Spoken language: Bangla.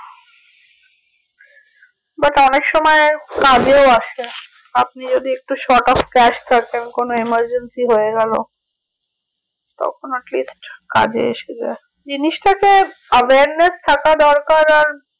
but অনেক সময় কাজও আসে আপনি যদি একটু sort of crash থাকেন কোনো emergency হয়ে গেলো তখন at list কাজে এসে যাই জিনিসটাকে awareness থাকা দরকার আর